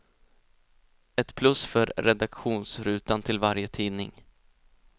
Ett plus för redaktionsrutan till varje tidning.